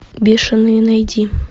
бешеные найди